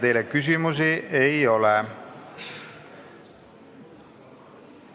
Teile küsimusi ei ole.